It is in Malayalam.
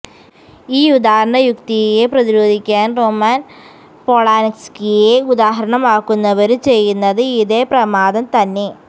ഈ ഉദാഹരണ യുക്തിയെ പ്രതിരോധിക്കാന് റൊമാന് പോളാന്സ്കിയെ ഉദാഹരണമാക്കുന്നവരും ചെയ്യുന്നത് ഇതേ പ്രമാദം തന്നെ